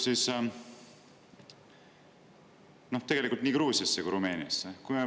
Suur tänu!